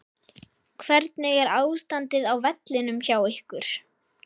Hvernig er ástandið á vellinum hjá ykkur?